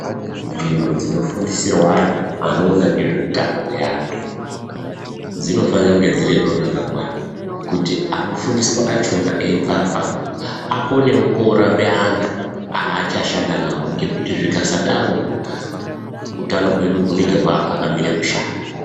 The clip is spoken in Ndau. Nzvimbo dzinofundisirwa antu anoona ngezveutano hweantu anoona nezveutano hwevantu zvinofanirwa kunge dzine zviro zvakakwana kuti anofundiswa achona eiubva apapo akonewo kunorapa antu aachashanda nawo ngekuti zvikasadarona utanohwedu hunenge hwava pakamire kushata.